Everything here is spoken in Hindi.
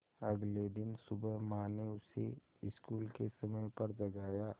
अगले दिन सुबह माँ ने उसे स्कूल के समय पर जगाया